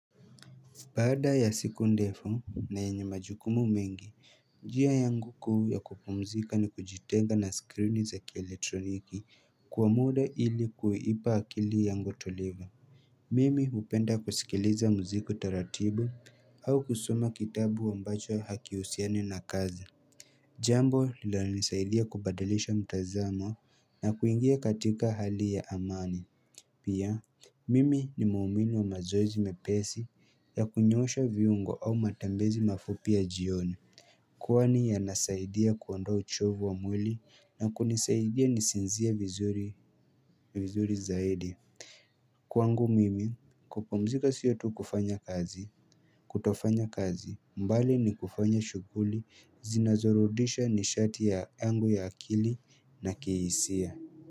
Baada ya siku ndefu na yenye majukumu mengi, njia yangu kuu ya kupumzika ni kujitenga na screen za kieletroniki kwa muda ili kuipa akili yangu utulivu. Mimi hupenda kusikiliza muziki taratibu au kusoma kitabu ambacho hakihusiani na kazi. Jambo linalonisaidia kubadilisha mtazamo na kuingia katika hali ya amani. Pia, mimi ni muumini wa mazoezi mepesi ya kunyosha viungo au matembezi mafupi ya jioni Kwani yanasaidia kuondoa uchovu wa mwili na kunisaidia nisinzie vizuri zaidi Kwangu mimi, kupumzika siyo tu kufanya kazi kutofanya kazi, mbali ni kufanya shuguli, zinazorudisha nishati yangu ya akili na kiisia.